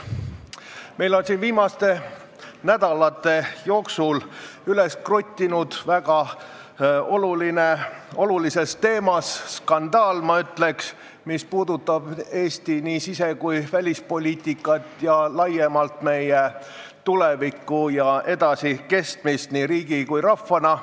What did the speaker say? Meil on siin viimaste nädalate jooksul üles kruttinud väga olulises teemas skandaal, mis puudutab Eesti sise- ja välispoliitikat, laiemalt aga meie tulevikku ja edasikestmist nii riigi kui ka rahvana.